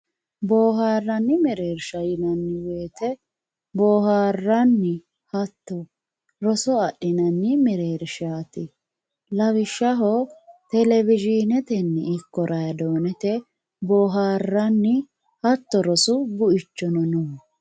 boharanni mererisha yinanni woyitte boharanni hatono rooso adhinanni merershatti lawishaho televizhinetinni niko radonete boharanni hatto roosu buichono no